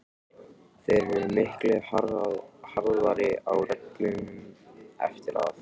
Þeir eru miklu harðari á reglunum eftir að